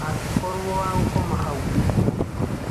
Akĩkorwo wa gũkoma hau ũtukũ mũgima.